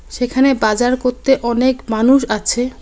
সেখানে বাজার করতে অনেক মানুষ আছে।